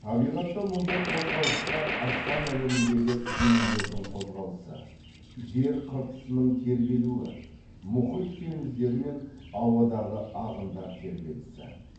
табиғатта мұндай қозғалысқа аспан әлеміндегі денелердің қозғалысы жер қыртысының тербелуі мұхит теңіздер мен ауадағы ағындар тербелісі